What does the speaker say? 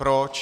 Proč?